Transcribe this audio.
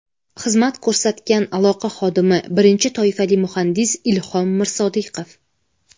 Xizmat ko‘rsatgan aloqa xodimi, birinchi toifali muhandis Ilhom Mirsodiqov.